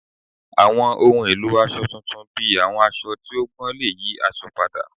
Awọn ohun elo aṣọ tuntun bi awọn aṣọ ti o gbọn le yi aṣọ pada